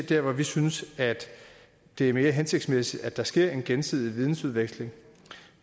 der hvor vi synes det er mere hensigtsmæssigt at der sker en gensidig vidensudveksling